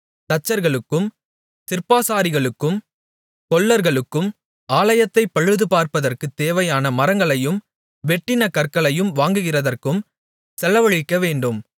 தச்சர்களுக்கும் சிற்பாசாரிகளுக்கும் கொல்லர்களுக்கும் ஆலயத்தைப் பழுதுபார்ப்பதற்குத் தேவையான மரங்களையும் வெட்டின கற்களையும் வாங்குகிறதற்கும் செலவழிக்கவேண்டும்